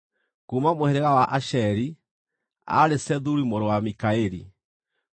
kuuma mũhĩrĩga wa Asheri, aarĩ Sethuri mũrũ wa Mikaeli;